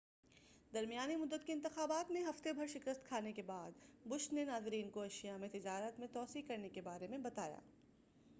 درمیانی مدت کے انتخابات میں ہفتے بھر شکست کھانے کے بعد بش نے ناظرین کو ایشیا میں تجارت میں توسیع کرنے کے بارے میں بتایا